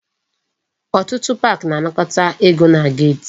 Ọtụtụ park na-anakọta ego na gate